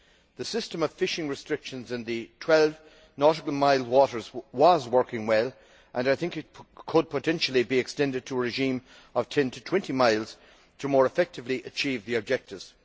The system of fishing restrictions in the 12 nautical mile waters was working well and I think it could potentially be extended to a regime of 10 to 20 miles to more effectively achieve the objectives.